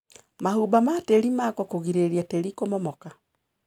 Mahumba ma tĩrĩ makwo kũgirĩrĩria tĩri kũmomoka.